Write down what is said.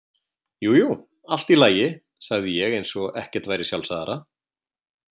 Jú jú, allt í lagi, sagði ég eins og ekkert væri sjálfsagðara.